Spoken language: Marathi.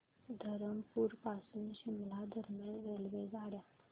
धरमपुर पासून शिमला दरम्यान रेल्वेगाड्या